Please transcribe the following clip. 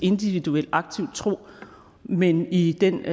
individuel aktiv tro men i den